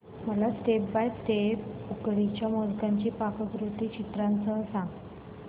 मला step by step उकडीच्या मोदकांची पाककृती चित्रांसह सांग